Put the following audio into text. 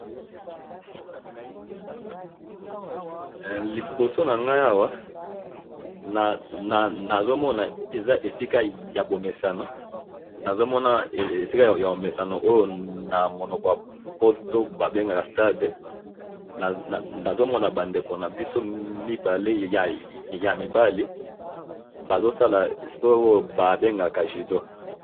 Na moni mibali mibale bazo sala judo.